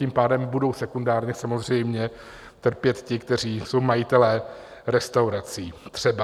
Tím pádem budou sekundárně samozřejmě trpět ti, kteří jsou majiteli restaurací třeba.